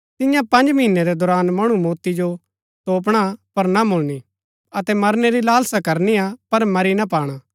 तियां पँज महीनै रै दौरान मणु मौती जो तोपणा पर ना मुळणिआ अतै मरनै री लालसा करनिआ पर मरी ना पाणा